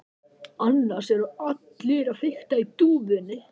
Annars eru allir að fikta í dúfunum.